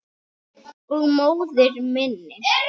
Og móður minni.